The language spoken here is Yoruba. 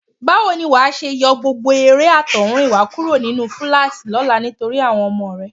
Báwo ni wà á ṣe yọ gbogbo eré àtọ̀húnrìnwá kúrò nínú fúláàṣì lọ́la nítorí àwọn ọmọ rẹ?